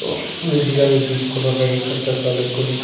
দুই দিকে আমি বিস্কুটের প্যাকেট দেখতাছি অনেক গুলি।